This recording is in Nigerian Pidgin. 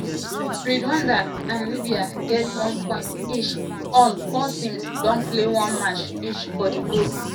rwanda and libya get one point each all four teams don play one match each for di group.